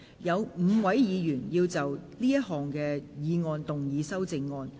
有5位議員要就這項議案動議修正案。